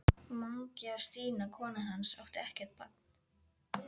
Mangi og Stína konan hans áttu ekkert barn.